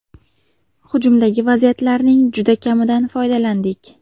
Hujumdagi vaziyatlarning juda kamidan foydalandik.